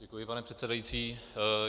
Děkuji, pane předsedající.